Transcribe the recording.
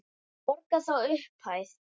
Borga þá upphæð?